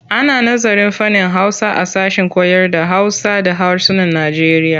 Ana nazarın fannin Hausa a sashen koyarda Hausa da harsunan Najeriya.